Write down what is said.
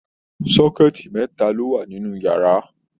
sọkẹ̀tí mẹta lo wà nínú yàrá.